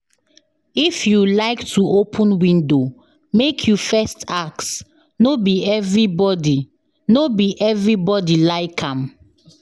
If you like to open window, make you first ask, no be everybody no be everybody like am